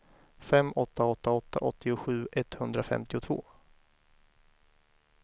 fem åtta åtta åtta åttiosju etthundrafemtiotvå